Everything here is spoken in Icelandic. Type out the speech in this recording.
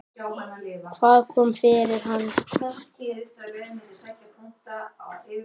Hvað kom fyrir hann?